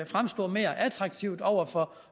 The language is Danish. fremstå mere attraktiv over for